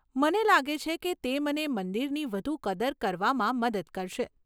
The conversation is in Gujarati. મને લાગે છે કે તે મને મંદિરની વધુ કદર કરવામાં મદદ કરશે.